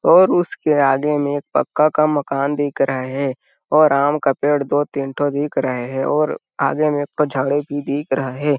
और उसके आगे मे एक पक्का का मकान दिख रहे हैं और आम का पेड़ दो तीन ठो दिख रहे हैं और आगे मे एक ठ झाड़ी भी दिख रहे हैं।